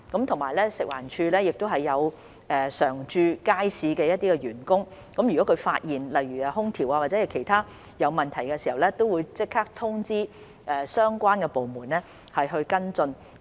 此外，食環署也有一些常駐街市的員工，如果他們發現空調或其他方面出現問題，會即時通知相關部門跟進。